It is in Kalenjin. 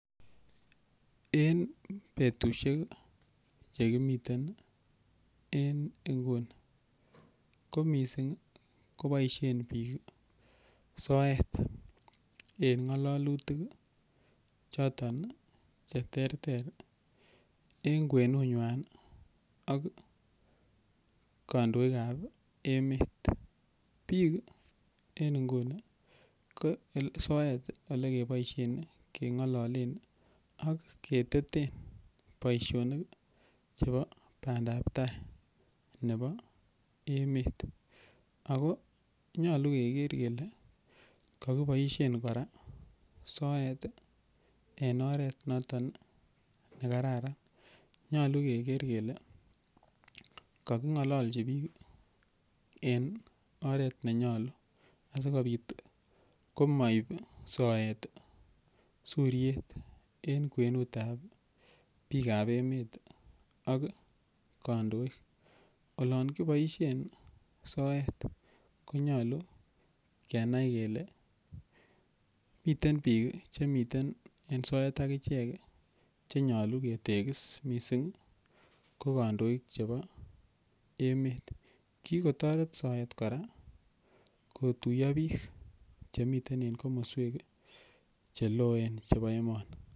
Eng betushek chekimiten eng nguni ko mising koboishen biik soet en ngalalutik choton che ter ter eng kwenungwany ak kandoik ap emet biik en nguni ko soet olekeboishen kengololen ak keteten boishonik chebo bandaptai nebo emet ako nyolu keker kele kakiboishen kora soet eng oret noton ne kararan nyolu keker kele kakingololchi biik eng oret nenyolu asikobit komaip soet suriet eng kwenut ap biik ap emet ak kandoik olon kiboishen soet konyolu kenai kele miten biik che miten en soet akichek chenyolu ketekisi mising ko kandoik chebo emet kikotoret soet kora kotuiyo biik chemiten en komoswek cheloen chebo emoni.